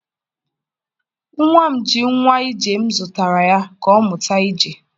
nwa m ji nwa ije m zụtara ya, ka ọ mụta ije.